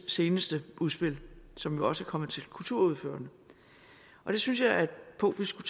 seneste udspil som jo også er kommet til kulturordførerne jeg synes det er et punkt vi skulle